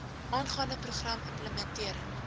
aangaande program implementering